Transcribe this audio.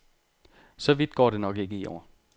Så vidt går det nok ikke i år.